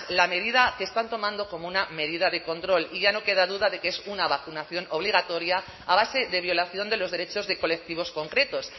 la medida que están tomando como una medida de control y ya no queda duda de que es una vacunación obligatoria a base de violación de los derechos de colectivos concretos